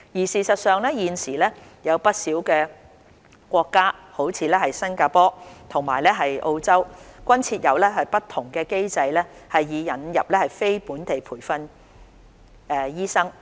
事實上，現時有不少國家，如新加坡及澳洲，均設有不同機制以引入非本地培訓醫生。